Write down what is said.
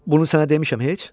Bunu sənə demişəm heç?